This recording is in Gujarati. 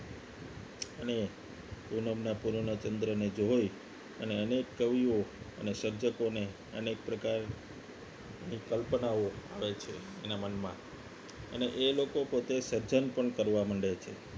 અને પૂનમના પૂર્ણ ચંદ્ર ને જોઈ અને અનેક કવિઓ અને સર્જકોને અનેક પ્રકાર કલ્પનાઓ આવે છે એના મનમાં અને એ લોકો પોતે સજન પણ કરવા માંડે છે